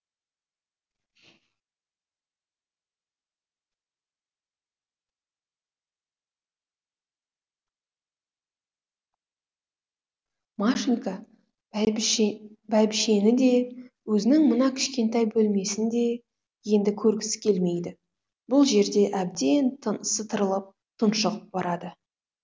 машенька бәйбіше бәйбішені де өзінің мына кішкентай бөлмесін де енді көргісі келмейді бұл жерде әбден тынысы тарылып тұншығып барады